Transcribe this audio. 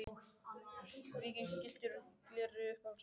Víking gylltur í gleri Uppáhalds vefsíða?